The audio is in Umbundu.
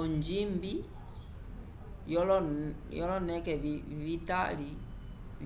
onjimbi lyoloneke